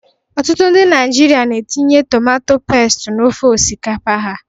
Ọtụtụ ndị Naijiria na-etinye tomato pestu na ofe osikapa ha.